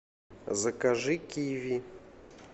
закажи киви